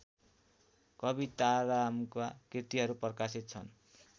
कवितारामका कृतिहरू प्रकाशित छन्